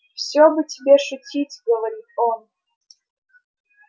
все бы тебе шутить говорит он